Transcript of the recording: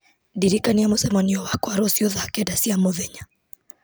ndirikania mũcemanio wakwa rũciũ thaa kenda cia mũthenya